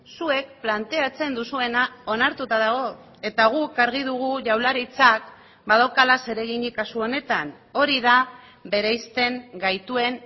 zuek planteatzen duzuena onartuta dago eta guk argi dugu jaurlaritzak badaukala zereginik kasu honetan hori da bereizten gaituen